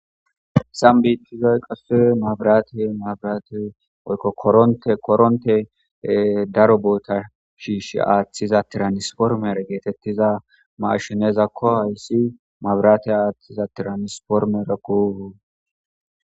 Haysan biitizay qase maabirate maabirate oykkokootekoronte daro boota shiish aaththiza tiranisformer geetettiza mashineezakko hayssi mabirate aaththiza tiranisformer ku